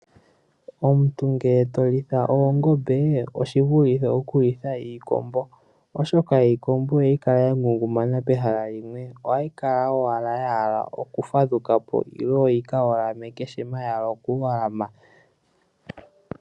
Omuntu ngele tolitha oongombe oshi vulithe okulitha iikombo oshoka iikombo ihayi kala yangungumana pehala limwe, ohayi kala owala yahala okufadhukapo nenge yikaholame kehe mpa yahala okuholama.